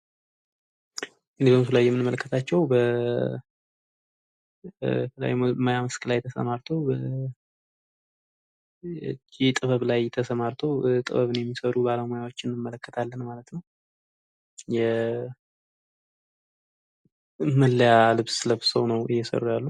በምስሉ ላይ የምንመለከታቸዉ በተለያዩ የሙያ መስክ ላይ ተሰማርተዉ የጥበብ ሙያ ላይ ተሰማርተዉ የተለያዩ መለያ ልብስ ነዉ እየሰሩ ያሉት።